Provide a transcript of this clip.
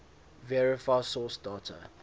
verify source date